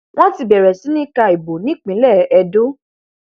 wọn ti bẹrẹ sí í ka ìbò nípínlẹ edo